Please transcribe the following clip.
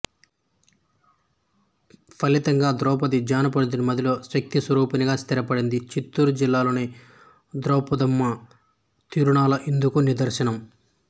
ఫలితంగా ద్రౌపది జానపదుని మదిలో శక్తి స్వరూపిణిగా స్థిరపడింది చిత్తూరు జిల్లాలోని ద్రౌపదమ్మ తిరుణాల ఇందుకు నిదర్శనం